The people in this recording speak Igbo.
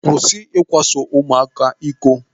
Kwụsị ikwaso ụmụaka iko.